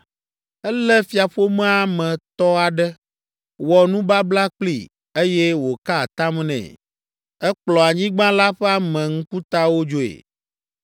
Elé fiaƒomea me tɔ aɖe, wɔ nubabla kplii, eye wòka atam nɛ. Ekplɔ anyigba la ƒe ame ŋkutawo dzoe,